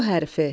O hərfi.